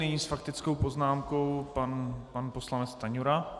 Nyní s faktickou poznámkou pan poslanec Stanjura.